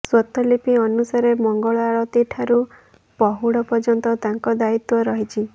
ସ୍ୱତଃଲିପି ଅନୁସାରେ ମଙ୍ଗଳ ଆଳତୀଠାରୁ ପହୁଡ ପର୍ଯ୍ୟନ୍ତ ତାଙ୍କ ଦାୟିତ୍ୱ ରହିଛି